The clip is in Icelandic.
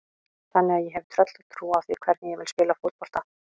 Þannig að ég hef tröllatrú á því hvernig ég vil spila fótbolta.